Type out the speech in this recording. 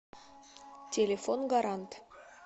телефон гарант